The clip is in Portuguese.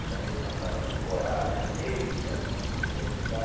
Tinha vez que passava temporada de meses antes de começar a estudar.